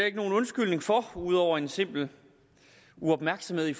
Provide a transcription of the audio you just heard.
ikke nogen undskyldning for ud over en simpel uopmærksomhed i